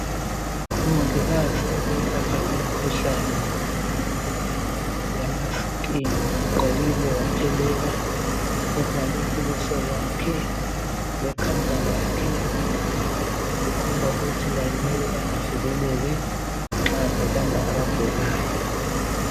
Umongikazi oyelapha imikhuhlane yama "Skin"ugqokile waphelela uvale ubuso bakhe lekhanda lakhe, kukhomba ukuthi laye kumele avikeleke nxa ebamba abagulayo.